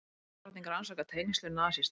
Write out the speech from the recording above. Svíadrottning rannsakar tengsl við nasista